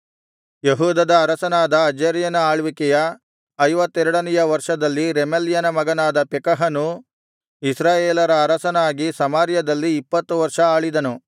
ಯೆಹೂದದ ಅರಸನಾದ ಅಜರ್ಯನ ಆಳ್ವಿಕೆಯ ಐವತ್ತೆರಡನೆಯ ವರ್ಷದಲ್ಲಿ ರೆಮಲ್ಯನ ಮಗನಾದ ಪೆಕಹನು ಇಸ್ರಾಯೇಲರ ಅರಸನಾಗಿ ಸಮಾರ್ಯದಲ್ಲಿ ಇಪ್ಪತ್ತು ವರ್ಷ ಆಳಿದನು